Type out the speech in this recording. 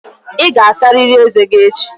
Ị ga-asarịrị ezé gị echi!